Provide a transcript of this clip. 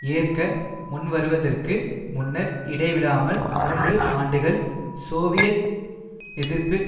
ஏற்க முன்வருவதற்கு முன்னர் இடைவிடாமல் மூன்று ஆண்டுகள் சோவியத் எதிர்ப்பு